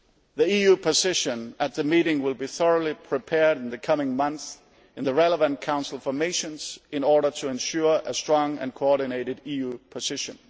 The EU position at the meeting will be thoroughly prepared in the coming months in the relevant Council formations in order to ensure a strong and coordinated EU position.